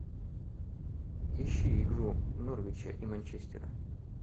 ищи игру норвича и манчестера